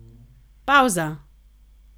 Pavza!